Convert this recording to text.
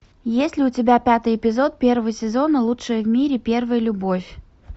есть ли у тебя пятый эпизод первого сезона лучшая в мире первая любовь